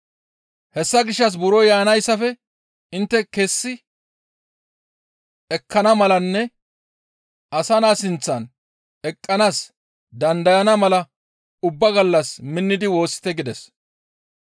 Hessa gishshas buro yaanayssafe intte kessi ekkana malanne Asa Naa sinththan eqqanaas dandayana mala ubba gallas minnidi woossite» gides.